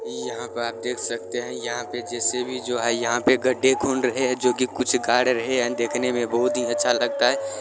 यहाँ पे आप देख सकते है यहाँ पे जे_सी_बी भी जो है यहाँ पे गड्डे खुंड रहे है जो की कुछ गाड़ रहे है देखने मे बहुत ही अच्छा लगता है।